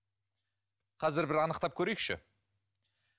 қазір бір анықтап көрейікші